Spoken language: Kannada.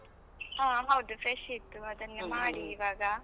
ಹಾ ಹೌದು fresh ಇತ್ತು. ಮಾಡಿ ಇವಾಗ.